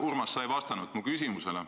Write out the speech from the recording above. Urmas, sa ei vastanud mu küsimusele.